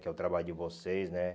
Que é o trabalho de vocês, né?